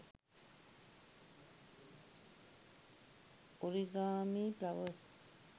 origami flowers